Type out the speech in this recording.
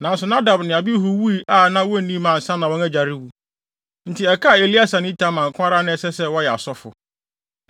Nanso Nadab ne Abihu wui a wonni mma ansa na wɔn agya rewu. Enti ɛkaa Eleasar ne Itamar nko ara a na ɛsɛ sɛ wɔyɛ asɔfo.